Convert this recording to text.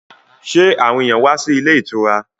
Sẹ́ àwọn èyàn wá sí ilé ìtura?